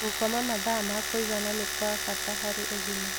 Gũkoma mathaa ma kũigana nĩ gwa bata harĩ ũgima